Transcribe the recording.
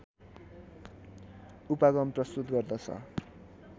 उपागम प्रस्तुत गर्दछ